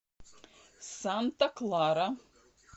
санта клара